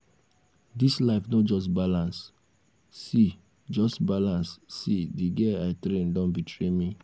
dis life no just balance see just balance see the girl i train don betray me